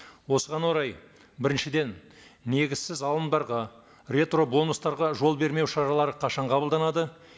осыған орай біріншіден негізсіз алымдарға ретробонустарға жол бермеу шаралары қашан қабылданады